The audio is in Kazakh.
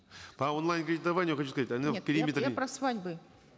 по онлайн кредитованию хочу сказать я про свадьбы